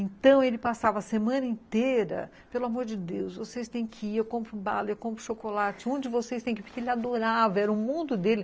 Então, ele passava a semana inteira, pelo amor de Deus, vocês têm que ir, eu compro bala, eu compro chocolate, um de vocês tem que ir, porque ele adorava, era o mundo dele.